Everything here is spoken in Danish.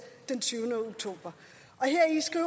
den tyvende oktober